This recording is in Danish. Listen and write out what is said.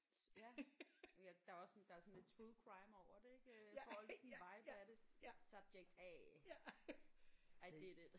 Ja ja der er også sådan der er sådan lidt true crime over det ik øh får lige sådan en vibe af det subject A ej det lidt